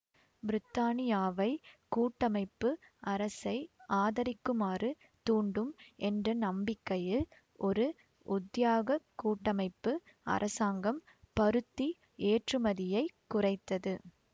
பிரித்தானியாவைக் கூட்டமைப்பு அரசை ஆதரிக்குமாறு தூண்டும் என்ற நம்பிக்கையில் ஒரு உத்தியாகக் கூட்டமைப்பு அரசாங்கம் பருத்தி ஏற்றுமதியை குறைத்தது